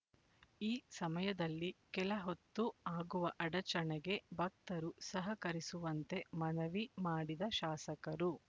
ಈ ಸಮಯದಲ್ಲಿ ಕೆಲ ಹೊತ್ತು ಅಗುವ ಅಡಚಣೆಗೆ ಭಕ್ತರು ಸಹಕರಿಸುವಂತೆ ಮನವಿ ಮಾಡಿದ ಶಾಸಕರು